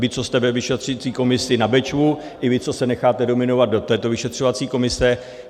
Vám, co jste ve vyšetřovací komisi na Bečvu, i vám, co se necháte nominovat do této vyšetřovací komise.